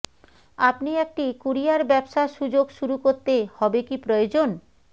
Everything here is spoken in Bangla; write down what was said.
আপনি একটি কুরিয়ার ব্যবসা সুযোগ শুরু করতে হবে কি প্রয়োজন